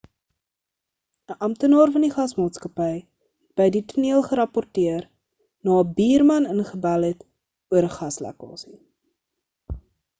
'n amptenaar van die gasmaatskappy het by die toneel gerapporteeer na 'n buurman ingebel het oor 'n gaslekkasie